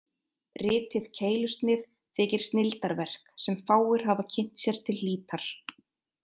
Ritið Keilusnið þykir snilldarverk, sem fáir hafa kynnt sér til hlítar.